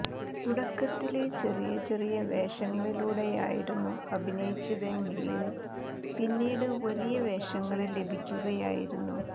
തുടക്കത്തില് ചെറിയ ചെറിയ വേഷങ്ങളിലൂടെയായിരുന്നു അഭിനയിച്ചതെങ്കില് പിന്നീട് വലിയ വേഷങ്ങള് ലഭിക്കുകയായിരുന്നു